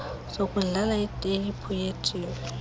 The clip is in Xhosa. sokudlala iteyiphu yetv